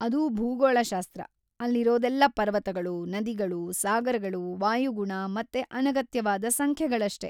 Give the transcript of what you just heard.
ಅದು ಭೂಗೋಳಶಾಸ್ತ್ರ! ಅಲ್ಲಿರೋದೆಲ್ಲ ಪರ್ವತಗಳು, ನದಿಗಳು, ಸಾಗರಗಳು, ವಾಯುಗುಣ ಮತ್ತೆ ಅನಗತ್ಯವಾದ ಸಂಖ್ಯೆಗಳಷ್ಟೇ.